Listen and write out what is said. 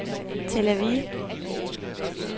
Tel Aviv